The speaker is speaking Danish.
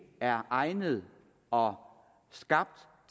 er egnede og skabt